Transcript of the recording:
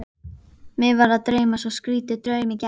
Mig var að dreyma svo skrýtinn draum í gær.